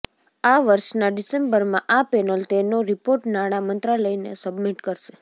આ વર્ષના ડિસેમ્બરમાં આ પેનલ તેનો રિપોર્ટ નાણાં મંત્રાલયને સબમિટ કરશે